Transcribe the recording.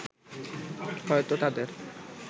হয়তো তাদের